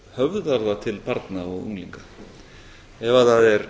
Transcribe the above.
höfða það til barna og unglinga ef það er